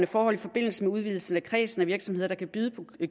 forhold i forbindelse med udvidelsen af kredsen af virksomheder der kan byde på